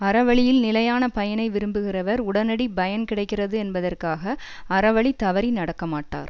அறவழியில் நிலையான பயனை விரும்புகிறவர் உடனடி பயன் கிடைக்கிறது என்பதற்காக அறவழி தவறி நடக்க மாட்டார்